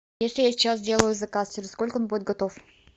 если я сейчас сделаю заказ через сколько он будет готов